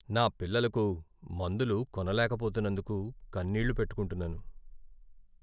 నా పిల్లలకు మందులు కొనలేకపోతున్నందుకు కన్నీళ్ళు పెట్టుకుంటున్నాను.